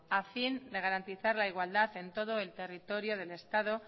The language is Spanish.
a fin de garantizar la igualdad en todo el territorio del estado